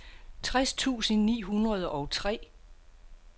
tres tusind ni hundrede og tre